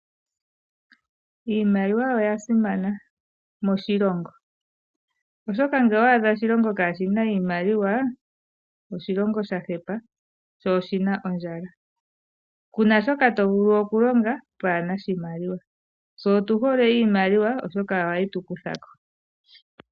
Iimaliwa oya simana moshilongo, oshoka ngele owa adha oshilongo kaashi na iimaliwa, oshilongo sha hepa sho oshi na ondjala. Ku na shoka to vulu okulonga twaa na oshimaliwa. Tse otu hole iimaliwa, oshoka ohayi tu kutha ko.